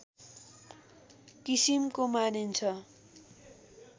किसिमको मानिन्छ